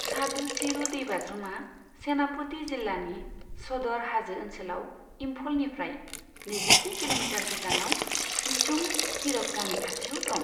सादु चिरू दैबाज्रुमा सेनापति जिल्लानि सदर हाजो ओनसोलाव इम्फलनिफ्राय नैजिस्नि किल'मिटार गोजानाव इछुम कीरप गामि खाथियाव दं।